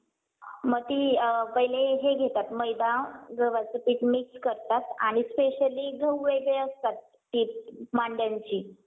मग ती अ पाहिले हे घेतात मैदा गव्हाचं पीठ मिक्स करतात. आणि specially गहू वेगळे असतात ती मांड्यांची.